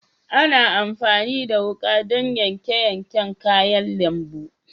Ana amfani da wuƙa don yanke yanke kayan lambu.